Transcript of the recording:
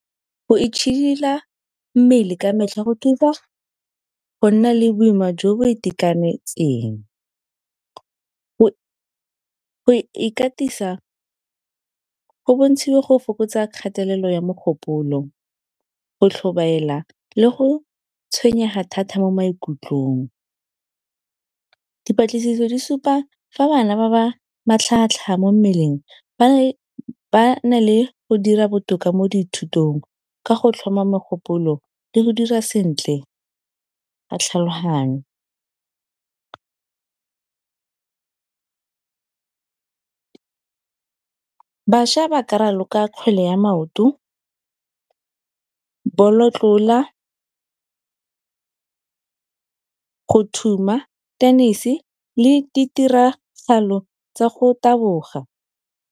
Go itšhidila mmele ka metlha go thusa go nna le boima jo bo itekanetseng, go ikatisa go bontshiwa go fokotsa kgatelelo ya mogopolo, go tlhobaela le go tshwenyega thata mo maikutlong. Dipatlisiso di supa fa bana ba ba matlhagatlhaga mo mmeleng ba na le go dira botoka mo dithutong ka go tlhoma mogopolo le go dira sentle ka tlhaloganyo. Bašwa ba ka raloka kgwele ya maoto, bolotlola, go thuma, tennis-e le ditiragalo tsa go taboga.